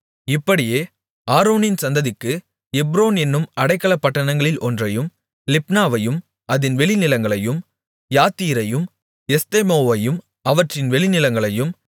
இப்படியே ஆரோனின் சந்ததிக்கு எப்ரோன் என்னும் அடைக்கலப்பட்டணங்களில் ஒன்றையும் லிப்னாவையும் அதின் வெளிநிலங்களையும் யாத்தீரையும் எஸ்தெமோவையும் அவற்றின் வெளிநிலங்களையும்